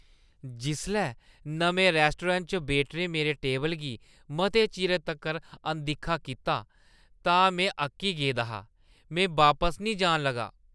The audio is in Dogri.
जिसलै नमें रैस्टोरैंट च वेटरें मेरे टेबल गी मते चिरे तक्कर अनदिक्खा कीता तां में अक्की गेदा हा। में बापस निं जान लगा।